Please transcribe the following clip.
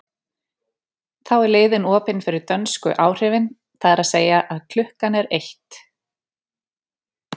Þá er leiðin opin fyrir dönsku áhrifin, það er að segja að klukkan er eitt.